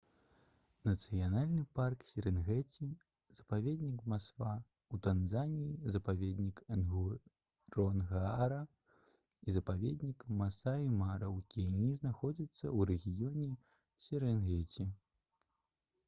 нацыянальны парк серэнгэці запаведнік масва ў танзаніі запаведнік нгоронгара і запаведнік масаі мара ў кеніі знаходзяцца ў рэгіёне серэнгеці